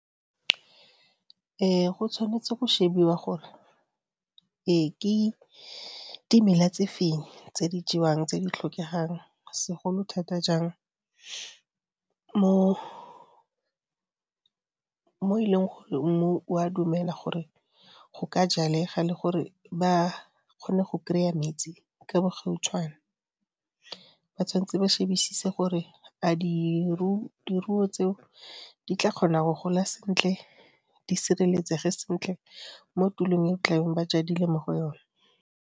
Go tshwanetse go shebiwa gore ke dimela tse feng tse di jewang tse di tlhokegang, segolo thata jang mo e leng gore mmu o a dumela gore go ka jalega le gore ba kgone go kry-a metsi ka bo gautshwane. Ba tshwanetse ba shebisise gore a diruo tseo di tla kgona go gola sentle, di sireletsege sentle mo tulong e tla bong ba jadile mo go yona.